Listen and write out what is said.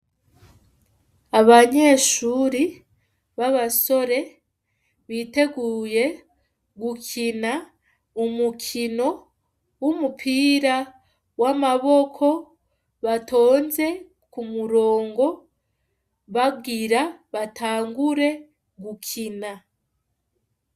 Abanyeshure b'abasore, biteguye gukina umukino w'umupira w'amaboko, batonze kumurongo, bagira batangure gukina.